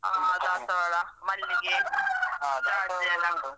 ಹ ದಾಸವಾಳ ಮಲ್ಲಿಗೆ ಜಾಜಿ ಎಲ್ಲ.